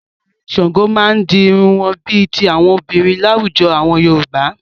Àwọn a Ọ̀rẹ̀ Ṣàngó máa ń di irun wọn bí i ti àwọn obìnrin láwùjọ àwọn Yorùbá.